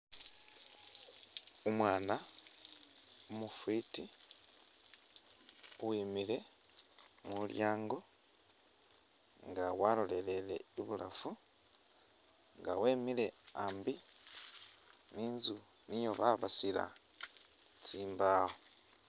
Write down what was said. Umwana umu’fiti uwimile mulyango nga waloleleye ibulafu nga wemile ambi ninstu nio babasila tsimbawo.